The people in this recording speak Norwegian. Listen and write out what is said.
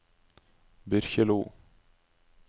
Byrkjelo